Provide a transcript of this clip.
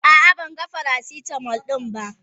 A'a ban gan faracitamol din ba.